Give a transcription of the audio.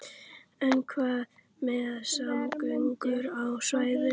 En hvað með samgöngur á svæðinu?